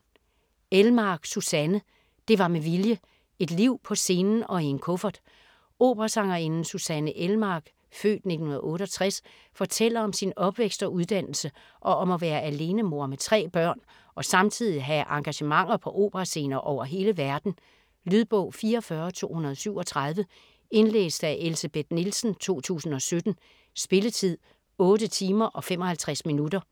Elmark, Susanne: Det var med vilje: et liv på scenen og i en kuffert Operasangerinden Susanne Elmark (f. 1968) fortæller om sin opvækst og uddannelse, og om at være alenemor med tre børn og samtidig have engagementer på operascener over hele verden. Lydbog 44237 Indlæst af Elsebeth Nielsen, 2017. Spilletid: 8 timer, 55 minutter.